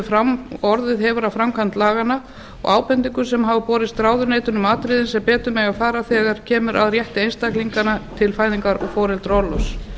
fram og orðið hefur af framkvæmd laganna og ábendingum sem hafa borist ráðuneytinu um atriði sem betur mega fara þegar kemur að rétti einstaklinganna til fæðingar og foreldraorlofs